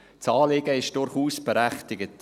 Das Anliegen ist durchaus berechtigt.